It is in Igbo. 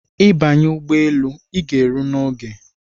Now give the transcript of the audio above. I banye ụgbọelu ịga ero n’oge